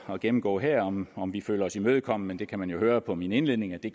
at gennemgå her om om vi føler os imødekommet men det kan man jo høre på min indledning at vi